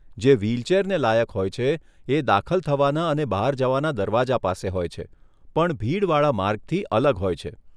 જે વ્હીલચેરને લાયક હોય છે, એ દાખલ થવાના અને બહાર જવાના દરવાજા પાસે હોય છે, પણ ભીડ વાળા માર્ગથી અલગ હોય છે.